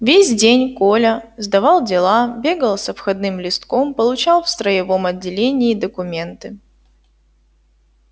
весь день коля сдавал дела бегал с обходным листком получал в строевом отделении документы